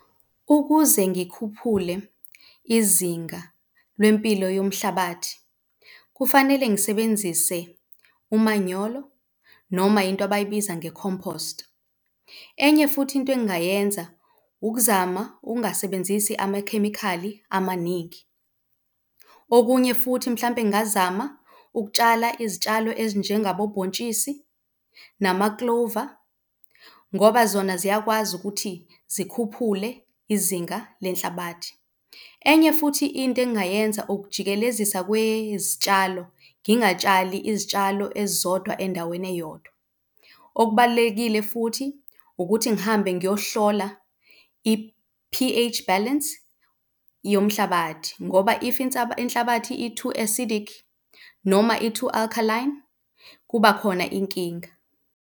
Ukuze ngikhuphule izinga lempilo yomhlabathi kufanele ngisebenzise umanyolo noma into abayibiza nge-compost. Enye futhi into engingayenza ukuzama ukungasebenzisi amakhemikhali amaningi. Okunye futhi mhlampe ngingazama ukutshala izitshalo ezinjengabo bhontshisi nama-clover ngoba zona ziyakwazi ukuthi zikhuphule izinga lenhlabathi. Enye futhi into engingayenza ukujikelezisa kwezitshalo, singatshali izitshalo ezizodwa endaweni eyodwa. Okubalulekile futhi ukuthi ngihambe ngiyohlola i-P_H balance yomhlabathi ngoba if inhlabathi i-too acidic noma i-too alkaline kuba khona inkinga.